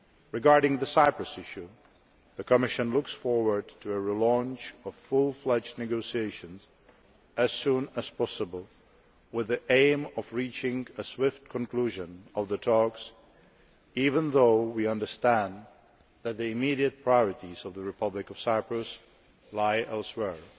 Regarding the Cyprus issue, the Commission looks forward to a re launch of fully fledged negotiations as soon as possible with the aim of reaching a swift conclusion of the talks, even though we understand that the immediate priorities of the Republic of Cyprus lie elsewhere.